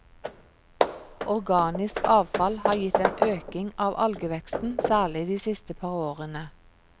Organisk avfall har gitt en øking av algeveksten, særlig de siste par årene.